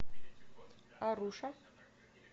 аруша